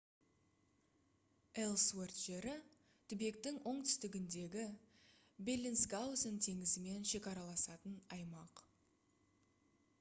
элсуэрт жері түбектің оңтүстігіндегі беллинсгаузен теңізімен шекараласатын аймақ